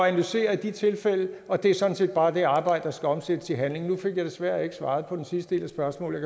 analysere i de tilfælde og det er sådan set bare det arbejde der skal omsættes i handling nu fik jeg desværre ikke svaret på den sidste del af spørgsmålet